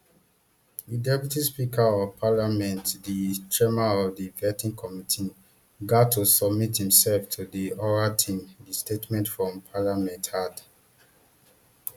di deputy speaker of parliament di chairman of di vetting committee gat to submit imserf to di oral team di statement from parliament add